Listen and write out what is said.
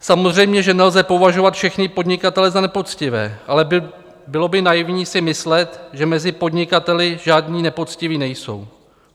Samozřejmě, že nelze považovat všechny podnikatele za nepoctivé, ale bylo by naivní si myslet, že mezi podnikateli žádní nepoctiví nejsou.